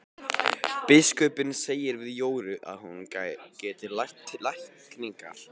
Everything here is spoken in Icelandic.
Biskupinn segir við Jóru að hún geti lært lækningar.